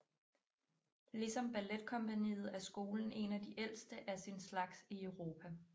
Ligesom balletkompagniet er skolen en af de ældste af sin slags i Europa